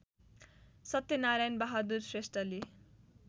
सत्यनारायण बहादुर श्रेष्ठले